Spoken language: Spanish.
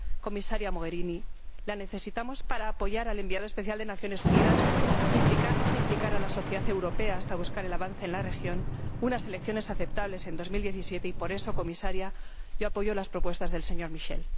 Comisaria Mogherini, la necesitamos para apoyar al enviado especial de las Naciones Unidas, para implicarnos e implicar a la sociedad europea hasta lograr un avance en la región, unas elecciones aceptables en 2017 y, por eso, Comisaria, yo apoyo las propuestas del señor Michel.